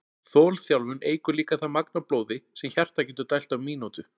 Þolþjálfun eykur líka það magn af blóði sem hjartað getur dælt á mínútu.